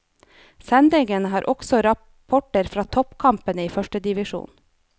Sendingen har også rapporter fra toppkampene i førstedivisjon.